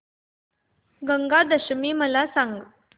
गंगा दशमी मला सांग